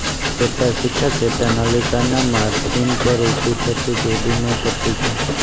ચેતાશિખા ચેતા નલિકાના માર્જિન પર ઉભી થતી જોડીયમ પટ્ટી છે